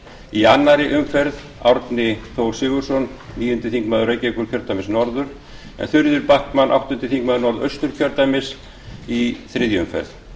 í annarri umferð árni þór sigurðsson níundi þingmaður reykjavíkurkjördæmis norður en þuríður backman áttundi þingmaður norðausturkjördæmis í þriðju umferð